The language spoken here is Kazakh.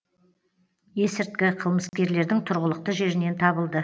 есірткі қылмыскерлердің тұрғылықты жерінен табылды